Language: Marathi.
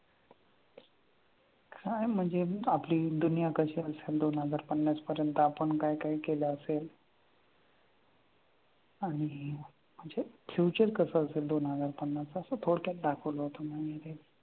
काय म्हणजे आपली दुनिया कशी असेल दोन हजार पन्नास पर्यंत आपण काय काय केलं असेल आणि म्हणजे future कसं असेल दोन हजार पन्नासला असं थोडक्यात दाखवलं होतं ते.